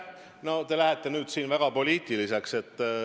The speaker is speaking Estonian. No te lähete nüüd väga poliitiliseks.